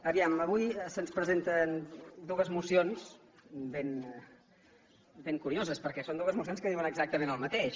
vejam avui se’ns presenten dues mocions ben curioses perquè són dues mocions que diuen exactament el mateix